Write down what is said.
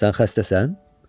Sən xəstəsən?